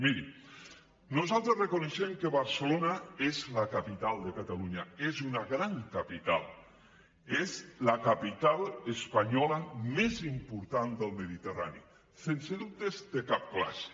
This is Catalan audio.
miri nosaltres reconeixem que barcelona és la capital de catalunya és una gran capital és la capital espanyola més important del mediterrani sense dubtes de cap classe